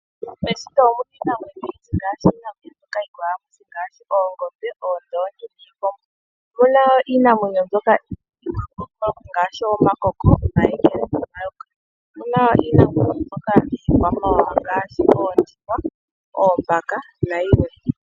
Meshito omuna iinamwenyo oyindji ngashi oongombe, iikombo noondongi, omuna wo iinamwenyo yiikwamawawa ngashi oondjuhwa, oombaka na yimwe.